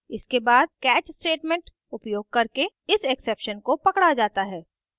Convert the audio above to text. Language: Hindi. इसके बाद catch statement उपयोग करके इस exception को पकड़ा जाता है